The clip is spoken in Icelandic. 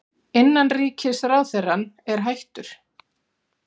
Innanríkisráðherrann er hættur